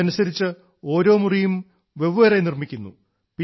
ഇതനുസരിച്ച് ഓരോ മുറിയും വെവ്വേറെ നിർമ്മിക്കുന്നു